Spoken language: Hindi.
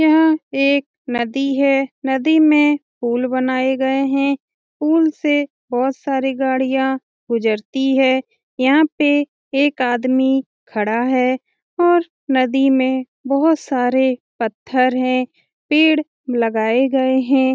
यह एक नदी हे नदी में पुल बनाय गए हें पूल से बहोत सारी गाड़िया गुजरती हे यहाँ पे एक आदमी खड़ा हैऔर नदी में बहोत सारे पत्थर है पेड़ लगाए गए हें।